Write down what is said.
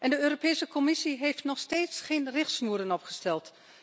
De Europese Commissie heeft nog steeds geen richtsnoeren opgesteld.